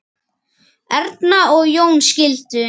Erna og Jón skildu.